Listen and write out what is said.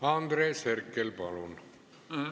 Andres Herkel, palun!